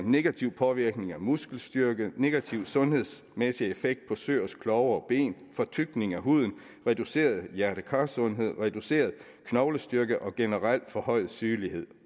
negativ påvirkning af muskelstyrke negativ sundhedsmæssig effekt på søers klove og ben fortykning af huden reduceret hjerte kar sundhed reduceret knoglestyrke og generelt forhøjet sygelighed